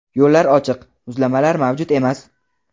Yo‘llar ochiq, muzlamalar mavjud emas.